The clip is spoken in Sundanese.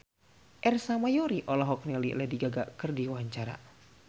Ersa Mayori olohok ningali Lady Gaga keur diwawancara